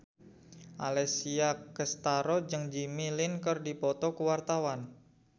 Alessia Cestaro jeung Jimmy Lin keur dipoto ku wartawan